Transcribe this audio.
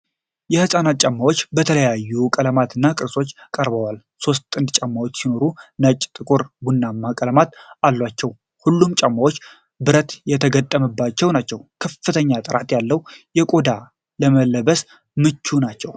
የሕፃናት ጫማዎች በተለያዩ ቀለማት እና ቅርጾች ቀርበዋል። ሦስት ጥንድ ጫማዎች ሲኖሩ ነጭ፣ ጥቁር እና ቡናማ ቀለሞች አሏቸው። ሁሉም ጫማዎች ብረት የተገጠመባቸው ናቸው። ከፍተኛ ጥራት ያለው ቆዳ ለመለበስ ምቹ ነው።